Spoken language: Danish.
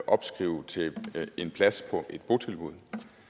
opskrive til en plads på et botilbud